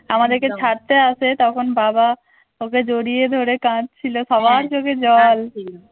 আমাদেরকে ছাড়তে আসে তখন বাবা ওকে জড়িয়ে ধরে কাঁদছিল সবার চোখে জল